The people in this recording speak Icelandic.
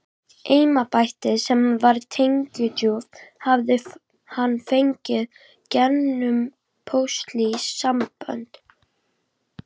Embættið, sem var tekjudrjúgt, hafði hann fengið gegnum pólitísk sambönd.